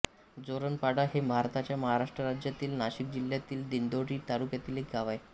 जोरणपाडा हे भारताच्या महाराष्ट्र राज्यातील नाशिक जिल्ह्यातील दिंडोरी तालुक्यातील एक गाव आहे